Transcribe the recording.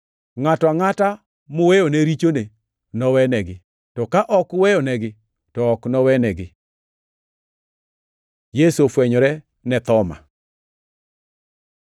Ngʼato angʼata muweyone richone nowenegi, to ka ok uweyonegi, to ok nowenegi.” Yesu ofwenyore ne Thoma